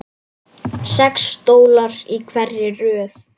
Sex stólar í hverri röð.